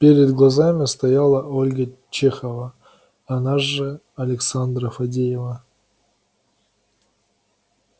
перед глазами стояла ольга чехова она же александра фадеева